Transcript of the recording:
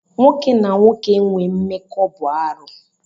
Nwoke na nwoke inwe mmekọ bụ arụ.